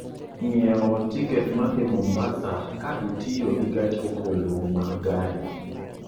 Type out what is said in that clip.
ng'iewo tiket ma dhi Mombasa ka itiyo gi gach okoloma gari